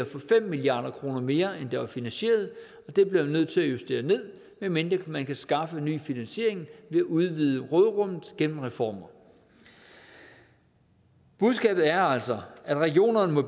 for fem milliard kroner mere end der var finansieret og det bliver man nødt til at justere ned medmindre man kan skaffe ny finansiering ved at udvide råderummet gennem reformer budskabet er altså at regionerne må